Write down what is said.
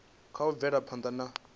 kha u bvela phanda na